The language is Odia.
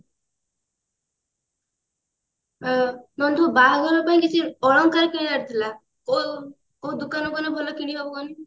ଆଁ ନନ୍ଦୁ ବାହାଘର ପାଇଁ କିଛି ଅଳଙ୍କାର କିଣିବାର ଥିଲା କୋଉ କୋଉ ଦୋକାନ କୁ ଗଲେ ଭଲ କିଣିହବ କହିଲୁ